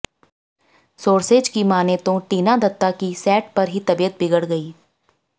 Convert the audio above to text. sources की मानें तो टीना दत्ता की सेट पर ही तबीयत बिगड़ गई